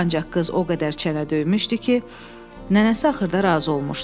Ancaq qız o qədər çənə döymüşdü ki, nənəsi axırda razı olmuşdu.